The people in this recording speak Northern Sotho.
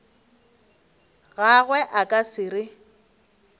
gagwe a ka se re